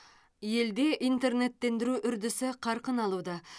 елде интернеттендіру үрдісі қарқын алуда